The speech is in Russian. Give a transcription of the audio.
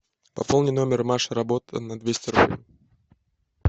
пополни номер маша работа на двести рублей